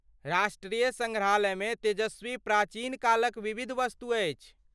राष्ट्रीय सङ्ग्रहालयमे तेजस्वी प्राचीन कालक विविध वस्तु अछि।